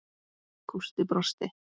Gústi brosti.